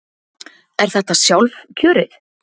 Er þetta sjálfkjörið?